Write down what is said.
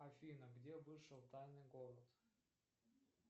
афина где вышел тайный город